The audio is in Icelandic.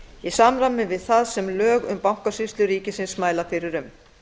í samræmi við það sem lög um bankasýslu ríkisins mæla fyrir um